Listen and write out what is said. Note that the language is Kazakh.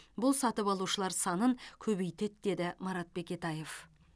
бұл сатып алушылар санын көбейтеді деді марат бекетаев